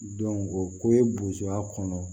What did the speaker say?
o ko ye bozoya kɔnɔ